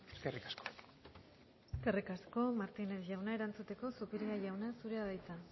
eskerrik asko eskerrik asko martínez jauna erantzuteko zupiria jauna zurea da hitza